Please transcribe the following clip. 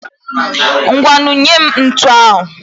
Ngwanụ nyee m ntu ahụ.